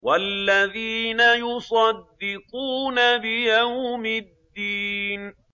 وَالَّذِينَ يُصَدِّقُونَ بِيَوْمِ الدِّينِ